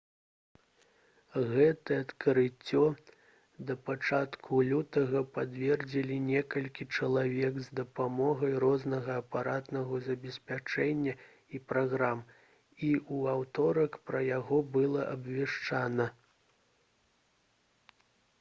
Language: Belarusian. гэтае адкрыццё да пачатку лютага пацвердзілі некалькі чалавек з дапамогай рознага апаратнага забеспячэння і праграм і ў аўторак пра яго было абвешчана